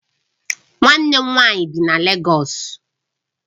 Nwanne m nwanyi bi na Légọs